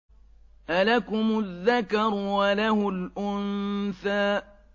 أَلَكُمُ الذَّكَرُ وَلَهُ الْأُنثَىٰ